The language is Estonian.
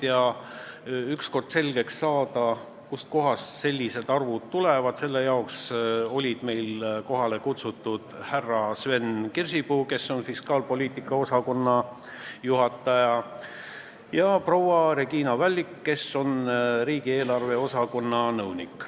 Selleks et ükskord selgeks saada, kust sellised arvud tulevad, olid meil kohale kutsutud härra Sven Kirsipuu, kes on ministeeriumi fiskaalpoliitika osakonna juhataja, ja proua Regina Vällik, kes on riigieelarve osakonna nõunik.